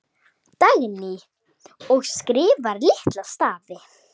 Dagný: Og skrifa litla stafi.